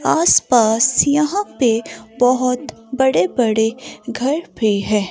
आस पास यहां पे बहोत बड़े बड़े घर भी हैं।